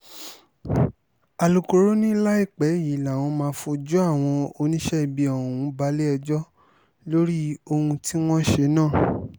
alūkkóró ni láìpẹ́ yìí làwọn máa fojú àwọn oníṣẹ́ ibi ọ̀hún balẹ̀-ẹjọ́ lórí ohun tí wọ́n ṣe náà